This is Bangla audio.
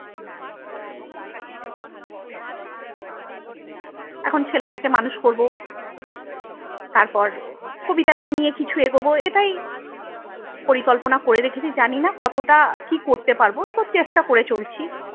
এখন ছেলেটাকে মানুষ করবো। তারপর কবিতাটাকে নিয়ে কিছু এগোবো এটাই পরিকল্পনা করে রেখেছি জানিনা কতটা কি করতে পারবো তো চেষ্টা করে চলছি।